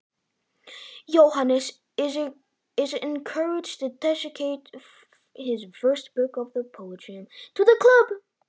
Jóhannes er hvattur til að tileinka klúbbnum fyrstu ljóðabók sína.